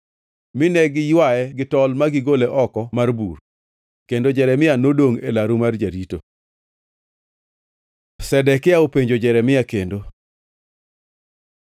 mine giywaye gi tol ma gigole oko mar bur. Kendo Jeremia nodongʼ e laru mar jarito. Zedekia openjo Jeremia kendo